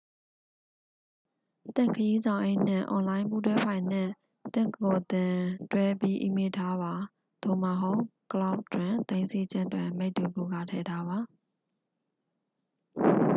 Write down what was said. "သင့်ခရီးဆောင်အိတ်နှင့် အွန်လိုင်း ပူးတွဲဖိုင်နှင့် သင့်ကိုယ်သင့် တွဲပြီးအီးမေးလ်ထားပါ သို့မဟုတ် "ကလောက်ဒ်" တွင် သိမ်းဆည်းခြင်း တွင် မိတ္တူကူးကာထည့်ထားပါ။